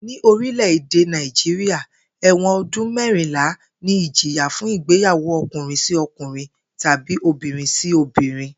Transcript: Ní orílè̩-èdè Nàìjíríà, è̩wò̩n o̩dún mé̩rìnlá ni ìjìyà fún ìgbéyàwó o̩kùnrin-sí-o̩kùnrin tàbí obìnrin-sí-obìnrin